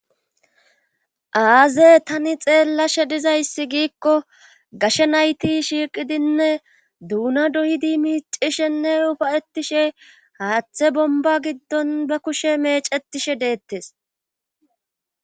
Aaze tani xeellashe dizayssi giikko gashe nayti shiiqidinne duuna doyidi miicishenne ufayetishe haaththe bomba giddon ba kushe mecetishe deettes.